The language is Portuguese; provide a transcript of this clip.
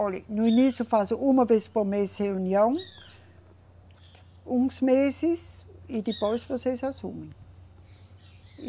Olhe, no início faz uma vez por mês reunião, uns meses, e depois vocês assumem.